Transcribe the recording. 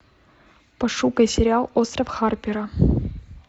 пошукай сериал остров харпера